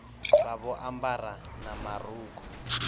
vha vho ambara na marukhu